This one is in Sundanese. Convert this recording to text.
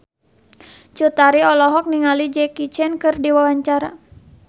Cut Tari olohok ningali Jackie Chan keur diwawancara